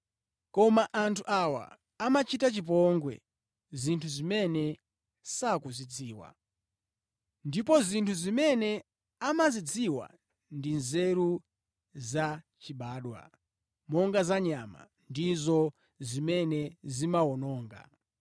Koma anthu awa amachita chipongwe zinthu zimene sakuzidziwa. Ndipo zinthu zimene amazidziwa ndi nzeru zachibadwa, monga za nyama, ndizo zimene zimawawononga.